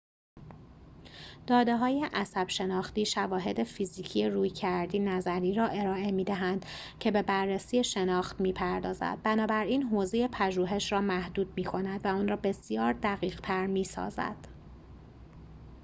داده‌های عصب‌شناختی شواهد فیزیکی رویکردی نظری را ارائه می‌دهند که به بررسی شناخت می‌پردازد بنابراین حوزه پژوهش را محدود می‌کند و آن را بسیار دقیق‌تر می‌سازد